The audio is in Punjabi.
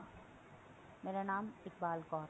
ਮੇਰਾ ਨਾਮ ਇੱਕਬਾਲ ਕੌਰ